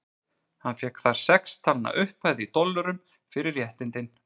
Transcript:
Hann fékk þar sex talna upphæð, í dollurum, fyrir réttindin.